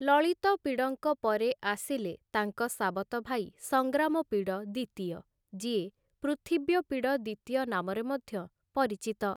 ଲଳିତପିଡଙ୍କ ପରେ ଆସିଲେ ତାଙ୍କ ସାବତ ଭାଇ ସଂଗ୍ରାମପିଡ଼ ଦିତୀୟ, ଯିଏ ପୃଥିବ୍ୟପିଡ଼ ଦିତୀୟ ନାମରେ ମଧ୍ୟ ପରିଚିତ ।